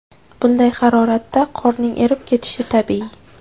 Bunday haroratda qorning erib ketishi tabiiy.